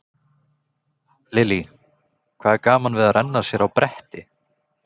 Lillý: Hvað er gaman við að renna sér á bretti?